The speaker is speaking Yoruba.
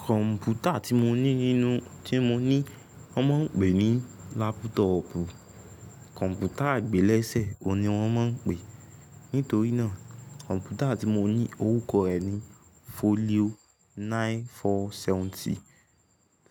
Kọ̀m̀pútà tí mo ní nínú tí mo ní wọ́n máa ń pè ní lápútòọ̀pù. Kọ̀m̀pútà àgbélẹ̀ṣẹ̀ ni wọ́n máa ń pè é. Nítorí náà kọ̀m̀pútà tí mo ní orúkọ rẹ̀ ni Folio nine four seventy.